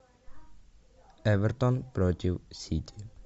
эвертон против сити